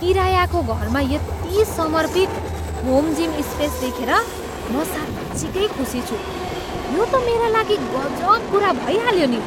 किरायाको घरमा यति समर्पित होम जिम स्पेस देखेर म साँच्चिकै खुसी छु, यो त मेरा लागि गजब कुरा भइहाल्यो नि।